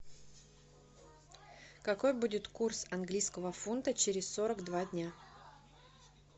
какой будет курс английского фунта через сорок два дня